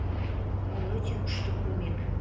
ол өте күшті көмек